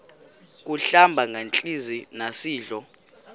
kuhlamba ngantelezi nasidlo